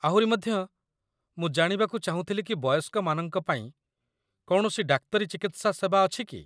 ଆହୁରି ମଧ୍ୟ, ମୁଁ ଜାଣିବାକୁ ଚାହୁଁଥିଲି କି ବୟସ୍କମାନଙ୍କ ପାଇଁ କୌଣସି ଡାକ୍ତରୀ ଚିକିତ୍ସା ସେବା ଅଛି କି?